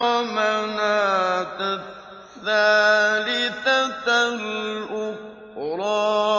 وَمَنَاةَ الثَّالِثَةَ الْأُخْرَىٰ